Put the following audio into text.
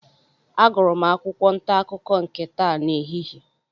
Agụrụ m akwụkwọ ntaakụkọ nke taa n'ehihie.